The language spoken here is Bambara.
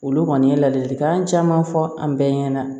Olu kɔni ye ladilikan caman fɔ an bɛɛ ɲɛna